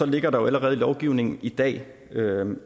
ligger der jo allerede i lovgivningen i dag